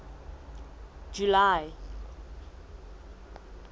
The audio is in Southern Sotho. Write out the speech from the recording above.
july